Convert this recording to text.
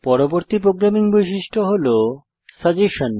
পরবর্তী প্রোগ্রামিং বৈশিষ্ট্য হল সাজেসশন